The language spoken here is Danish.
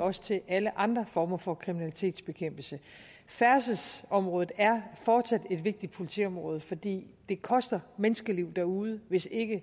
også til alle andre former for kriminalitetsbekæmpelse færdselsområdet er fortsat et vigtigt politiområde fordi det koster menneskeliv derude hvis ikke